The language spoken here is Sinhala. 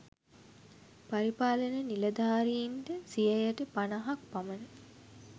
පරිපාලන නිළධාරීන්ට සියයට පණහක් පමණ